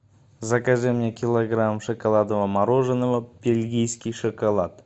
закажи мне килограмм шоколадного мороженого бельгийский шоколад